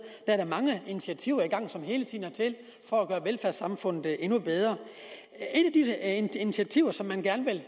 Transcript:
er da mange initiativer i gang som hele tiden er til for at gøre velfærdssamfundet endnu bedre et af de initiativer som man gerne vil